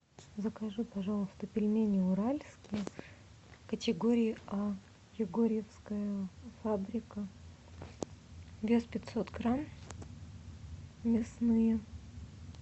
закажи пожалуйста пельмени уральские категории а егорьевская фабрика вес пятьсот грамм мясные